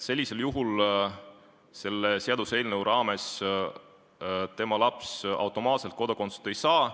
Sellisel juhul selle seaduseelnõu kohaselt tema laps automaatselt kodakondsust ei saa.